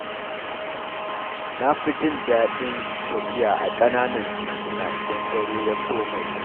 Na fi jin daɗin tafiya a ƙananan tituna idan dare ya soma yi.